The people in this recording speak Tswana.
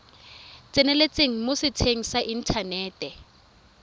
tseneletseng mo setsheng sa inthanete